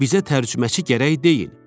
Bizə tərcüməçi gərək deyil.